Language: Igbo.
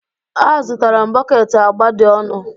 Azụtara m bọket agba dị ọnụ